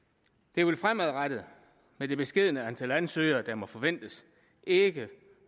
det vil fremadrettet med det beskedne antal ansøgere der må forventes ikke